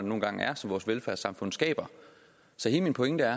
nu engang er og som vores velfærdssamfund skaber så hele min pointe er